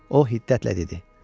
O hiddətlə dedi: